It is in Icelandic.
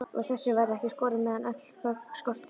Úr þessu verður ekki skorið, meðan öll gögn skortir.